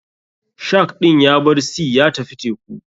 Shark ɗin yabar sea ya tafi teku.